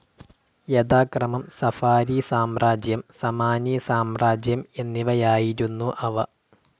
യഥാക്രമം സഫാരി സാമ്രാജ്യം, സമാനി സാമ്രാജ്യം എന്നിവയായിരുന്നു അവ.